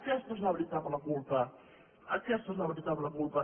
aquesta és la veritable culpa aquesta és la veritable culpa